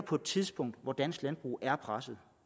på et tidspunkt hvor dansk landbrug er presset